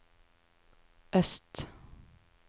øst